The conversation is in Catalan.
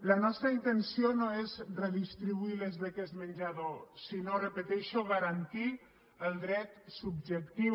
la nostra intenció no és redistribuir les beques menjador sinó ho repeteixo garantir ne el dret subjectiu